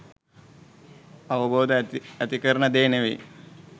අවබෝධය ඇතිකරන දේ නෙවෙයි.